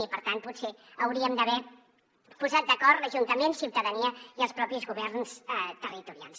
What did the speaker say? i per tant potser hauríem d’haver posat d’acord l’ajuntament ciutadania i els propis governs territorials